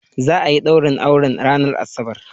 Za'ayi ɗaurin auren ranar asabar